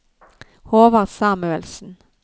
Håvard Samuelsen